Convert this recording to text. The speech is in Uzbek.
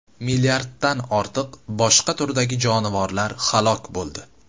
Milliarddan ortiq boshqa turdagi jonivorlar halok bo‘ldi.